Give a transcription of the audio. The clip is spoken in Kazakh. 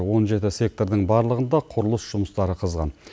он жеті сектордың барлығында құрылыс жұмыстары қызған